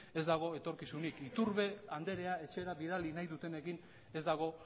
ez dago etorkizunik iturbe andrea etxera bidali nahi dutenekin ez dago